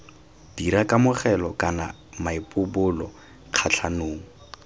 dira kamogelo kana maipobolo kgatlhanong